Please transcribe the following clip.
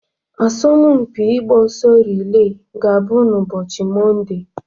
Asọmpi ịgba ọsọ rile ga-abụ ụbọchị Mọnde.